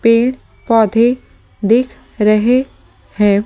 पेड़-पौधे दिख रहे हैं ।